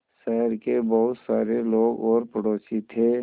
शहर के बहुत सारे लोग और पड़ोसी थे